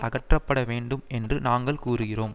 அகற்றப்பட வேண்டும் என்று நாங்கள் கூறுகிறோம்